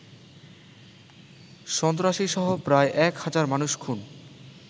সন্ত্রাসীসহ প্রায় এক হাজার মানুষ খুন